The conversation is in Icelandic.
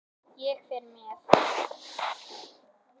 Ég fer með